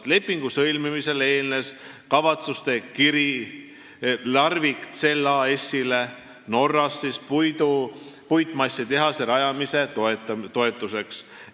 Lepingu sõlmimisele eelnes kavatsuste kiri Norras asuvale Larvik Cell AS-ile puitmassitehase rajamise toetuseks.